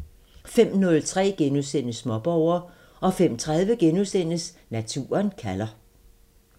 05:03: Småborger * 05:30: Naturen kalder *